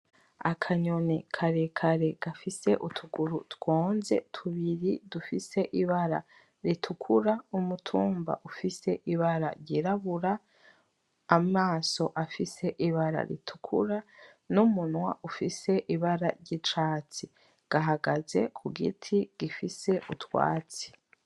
Akanyoni karekare gafise utuguru twonze tubiri dufise ibara ritukura, umutuba ufise ibara ryirabura, amaso afise ibara ritukura, numunwa ufise ibara ryicatsi. Gahagaze kugiti gifise utwatsi.